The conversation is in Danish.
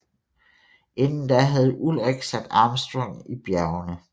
Inden da havde Ullrich sat Armstrong i bjergene